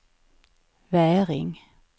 Väring